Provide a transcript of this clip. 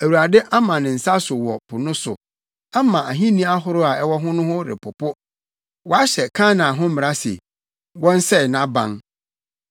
Awurade ama ne nsa so wɔ po no so ama ahenni ahorow a ɛwɔ hɔ no repopo. Wahyɛ Kanaan ho mmara se, wɔnsɛe nʼaban.